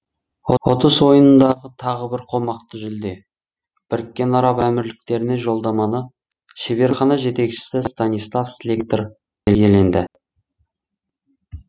ұтыс ойынындағы тағы бір қомақты жүлде біріккен араб әмірліктеріне жолдаманы шеберхана жетекшісі станислав слектор иеленді